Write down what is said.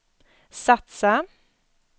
satsa